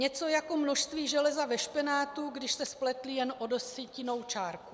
Něco jako množství železa ve špenátu, když se spletli jen o desetinnou čárku.